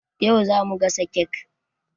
Yau zamu gasa kek.